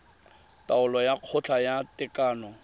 taolo ya kgotla ya tekano